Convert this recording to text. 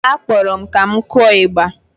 Akpọrọ m ka m kụọ ịgba